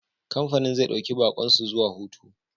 Kamfanin zai dauki baƙon su zuwa hutu.